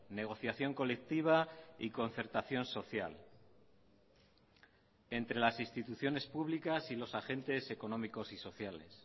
negociación colectiva y concertación social entre las instituciones públicas y los agentes económicos y sociales